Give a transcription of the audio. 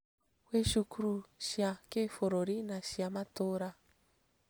Gwĩ cukuru cia kĩbũrũri na cia matũũra